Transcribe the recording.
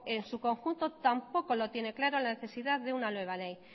en su conjunto tampoco lo tiene claro la necesidad de una nueva ley